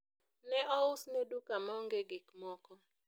ne ousne duka maonge gikmoko